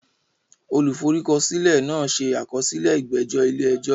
Olùforúkọsílẹ̀ náà ṣe àkọsílẹ̀ ìgbẹ́jọ́ ilé ẹjọ́.